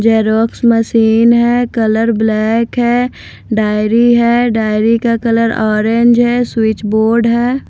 Xerox machine है colour black है diary है डायरी का कलर ऑरेंज है स्विच बोर्ड है।